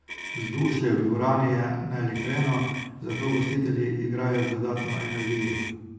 Vzdušje v dvorani je naelektreno, zato gostitelji igrajo z dodatno energijo.